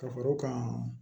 Ka fara kan